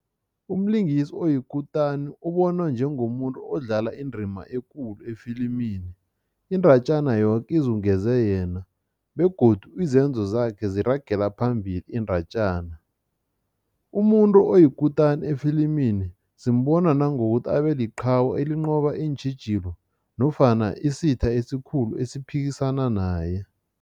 Umlingisi oyikutani ubonwa njengomuntu odlala indima ekulu efilimini, iindatjana yoke izungeze yena begodu izenzo zakhe ziragele phambili indatjana. Umuntu oyikutani efilimini simbona nangokuthi abeliqhawe elinqoba iintjhijilo nofana isitha esikhulu esiphikisana naye.